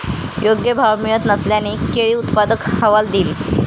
योग्य भाव मिळत नसल्याने केळी उत्पादक हवालदिल